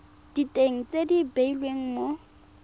diteng tse di beilweng mo